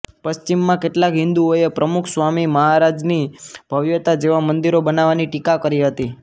પશ્ચિમમાં કેટલાક હિન્દુઓએ પ્રમુખ સ્વામી મહારાજની ભવ્યતા જેવા મંદિરો બનાવવાની ટીકા કરી હતી